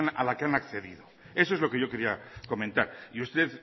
a la que han accedido eso es lo que yo quería comentar y usted